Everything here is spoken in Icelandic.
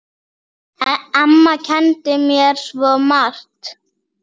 Amma kenndi mér svo margt.